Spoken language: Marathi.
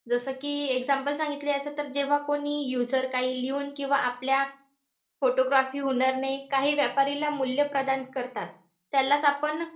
जसं कि example सांगितलं याचं तर, जेव्हा कोणी user काही लिहून किंवा आपल्या photography हुनर ने काही व्यापारीला मूल्य प्रदान करतात. त्यालाच आपण